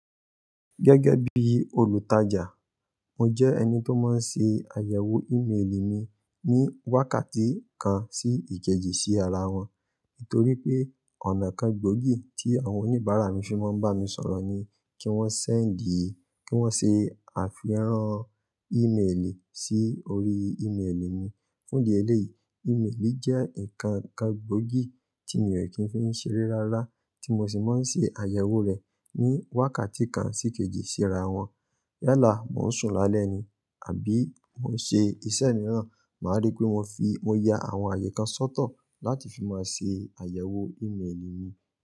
Gẹ́gẹ́ bí olùtajà, mo jẹ́ ẹni tó máa ń ṣe àyẹ̀wò ímelì mi ní wákàtí kan sí ìkejì sí ara wọn. Nítorí pé ọ̀nà kan gbóògì tí àwọn oníbàárà mi fi máa ń bá mi sọ̀rọ̀ ni kí wọ́n sẹ́ǹdìì, kí wọ́n ṣe àfiràn ímelì sí orí ímelì mi. Fún di éléyì, ímélì mi jẹ́ ǹkan kan gbóògì tí mi ò kí ń fi ṣeré rárá tí mo sì máa ń ṣe àyẹ̀wò rẹ̀ ní wákàtí kan sí kejì síra wọn. Yálà, mò ń sùn lálẹ́ ni àbí mò ń ṣe iṣẹ́ mìíràn, màá rí pé mo fi, mo ya àwọn àyè kan sọ́tọ̀ láti fi máa ṣe àyẹ̀wò ímelì mi.